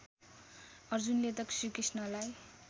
अर्जुनले त श्रीकृष्णलाई